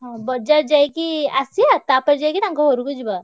ହଁ ବଜାର ଯାଇକି ଆସିଆ ତାପରେ ଯାଇକି ତାଙ୍କ ଘରକୁ ଯିବା।